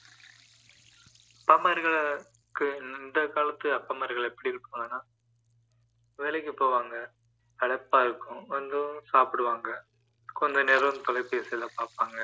அப்பாமார்களை இந்த காலத்து அப்பாமார்கள் எப்படி இருக்கிறாங்கன்னா லேலைக்கு போவாங்க களைப்பா இருக்கும் வந்து சாப்பிடுவாங்க கொஞ்சநேரம் தொலைபேசிகளை பார்ப்பாங்க